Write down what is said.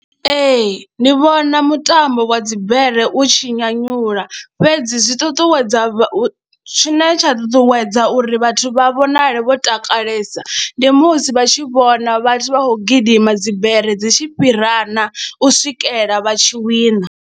Ee, ndi vhona mutambo wa dzibere u tshi nyanyula fhedzi zwi ṱuṱuwedza vha, tshine tsha ṱuṱuwedza uri vhathu vha vhonale vho takalesa ndi musi vha tshi vhona vhathu vha khou gidima dzibere dzi tshi fhirana u swikela vha tshi wina.